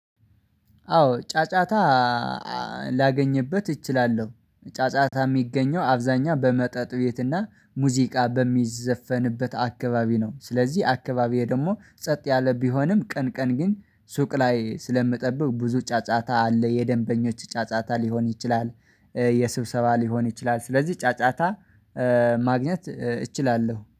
አዎ ጫጫታ ላገኝበት እችላለሁ ጫጫታ የሚገኘው አብዛኛው በመጠጥ ቤት እና ሙዚቃ በሚዘፈንበት አካባቢ ነው። ስለዚህ አካባቢዬ ደግሞ ጸጥ ያለ ቢሆንም ቀን ቀን ግን ሱቅ ላይ ስለምጠብቅ ብዙ ጫጫታ አለ የደንበኞች ጫጫታ ሊሆን ይችላል። የስብሰባ ሊሆን ይችላል ስለዚህ ጫጫታ ማግኘት እችላለሁ